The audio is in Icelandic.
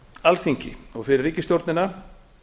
alþingi og fyrir ríkisstjórnina